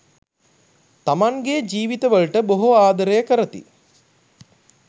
තමන්ගේ ජීවිතවලට බොහෝ ආදරය කරති.